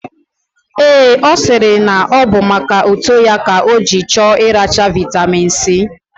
Ee, osiri na obu maka uto ya ka oji choo iracha vitamin C.